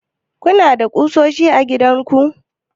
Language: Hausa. kuna da ƙusoshi a gidanku?